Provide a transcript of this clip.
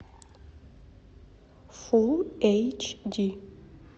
фулл эйч ди